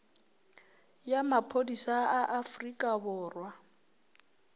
ya maphodisa a afrika borwa